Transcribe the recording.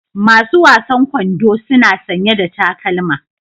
Masu wasan kwando suna sanye da takalma.